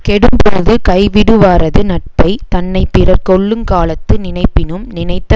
கெடும்பொழுது கைவிடுவாரது நட்பை தன்னை பிறர் கொல்லுங் காலத்து நினைப்பினும் நினைத்த